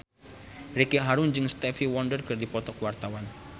Ricky Harun jeung Stevie Wonder keur dipoto ku wartawan